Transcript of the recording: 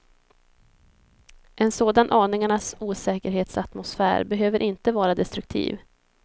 En sådan aningarnas osäkerhetsatmosfär behöver inte vara destruktiv.